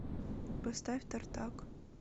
поставь тартак